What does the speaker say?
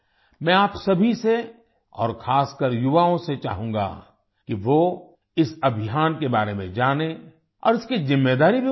मैं आप सभी से और खासकर युवाओं से चाहूँगा कि वो इस अभियान के बारे में जानें और इसकी जिम्मेदारी भी उठायें